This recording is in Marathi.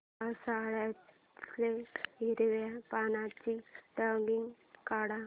पावसाळ्यातलं हिरव्या पानाचं ड्रॉइंग काढ